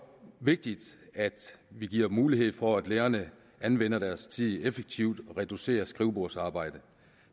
vigtigt at vi giver mulighed for at lærerne anvender deres tid effektivt og reducerer skrivebordsarbejdet